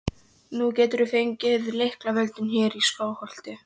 Nú geturðu fengið lyklavöldin hér í Skálholti!